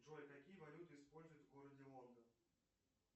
джой какие валюты используют в городе лондон